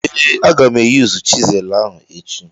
Ee, aga m eyuzu chịselu ahụ echi.